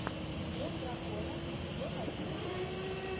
синдром дракона эпизод одиннадцать